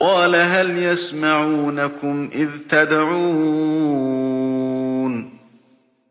قَالَ هَلْ يَسْمَعُونَكُمْ إِذْ تَدْعُونَ